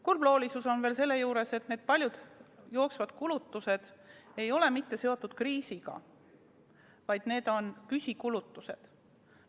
Kurbloolisus on veel see, et paljud jooksvad kulutused ei ole seotud mitte kriisiga, vaid need on püsikulutused.